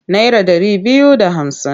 Naira ɗari biyu da hamsin.